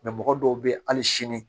mɔgɔ dɔw bɛ yen hali sini